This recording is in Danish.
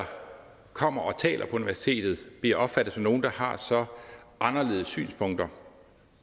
kommer og taler på universitetet bliver opfattet som nogle der har så anderledes synspunkter